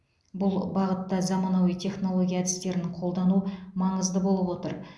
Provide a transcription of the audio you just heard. бұл бағытта заманауи технология әдістерін қолдану маңызды болып отыр